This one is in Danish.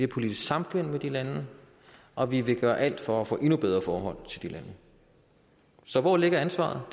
politisk samkvem med de lande og vi vil gøre alt for at få endnu bedre forhold til de lande så hvor ligger ansvaret